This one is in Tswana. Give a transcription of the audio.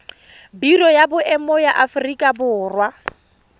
biro ya boemo ya aforika